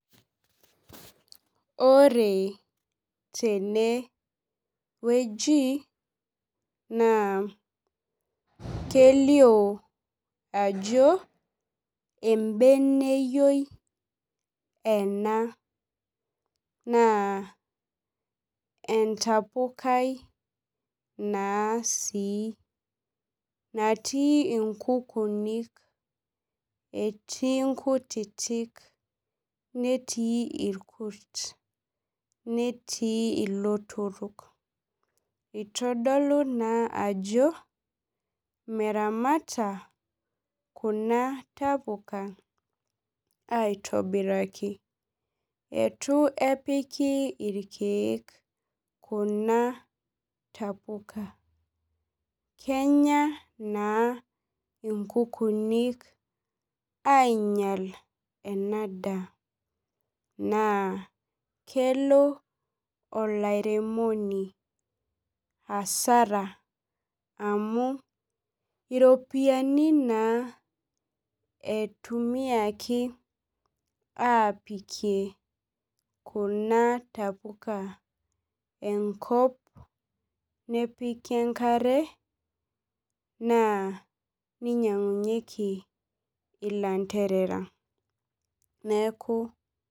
Ore tenewueji naa kelioo ajo embeneyioi ena naa entapukai naa sii natii nkukuuni etii nkutitik netii irkut netii ilotorok itodolu naa ajo meramata kuna tapuka aitobirajki itu epiki irkeek kuna tapuak kenya naa nkukuunin aunyial ena daa naa kelo olairemoni asara amu iropiyiani naa itumiaki aapikie kuna tapuka enkop neiki ekare na ninyiang'unyieki ilanterera ,neeku.